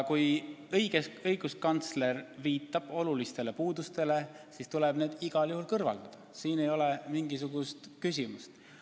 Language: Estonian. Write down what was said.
Kui õiguskantsler viitab olulistele puudustele, siis tuleb need igal juhul kõrvaldada – siin ei ole mingisugust küsimust.